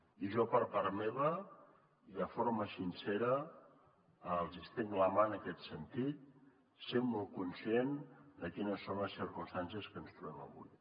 i jo per part meva i de forma sincera els ho estenc la mà en aquest sentit sent molt conscient de quines són les circumstàncies que ens trobem avui